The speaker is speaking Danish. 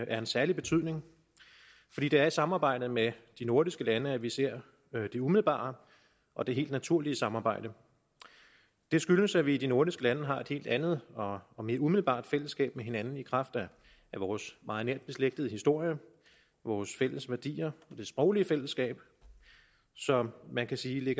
af en særlig betydning fordi det er i samarbejdet med de nordiske lande at vi ser det umiddelbare og det helt naturlige samarbejde det skyldes at vi i de nordiske lande har et helt andet og og mere umiddelbart fællesskab med hinanden i kraft af vores meget nært beslægtede historie vores fælles værdier det sproglige fællesskab så man kan sige at